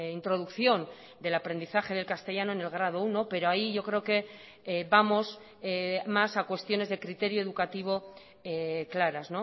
introducción del aprendizaje del castellano en el grado uno pero ahí yo creo que vamos más a cuestiones de criterio educativo claras